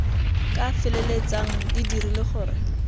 ka feleltsang di dirile gore